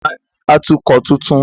Ta ni atukọ̀ tuntun?